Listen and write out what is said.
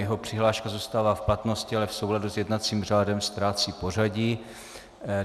Jeho přihláška zůstává v platnosti, ale v souladu s jednacím řádem ztrácí pořadí.